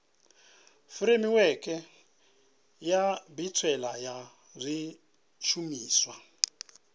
furemiweke ya mbetshelwa ya zwishumiswa